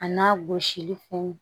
A n'a gosili funu